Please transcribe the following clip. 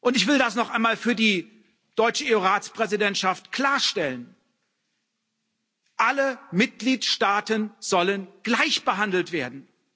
Ich will das noch einmal für die deutsche EU Ratspräsidentschaft klarstellen Alle Mitgliedstaaten sollen gleichbehandelt werden.